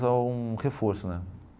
Um reforço né.